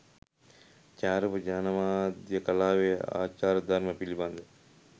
ජායාරූප ජනමාධ්‍ය කලාවේ ආචාර ධර්ම පිළිබඳ